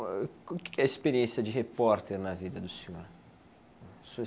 O que que é a experiência de repórter na vida do senhor? O senhor